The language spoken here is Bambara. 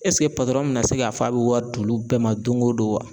Ɛseke mɛna se k'a fɔ a bɛ wari d'olu bɛɛ ma don o don wa?